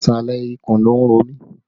Ìsàlẹ̀ ikùn ló ń ro mi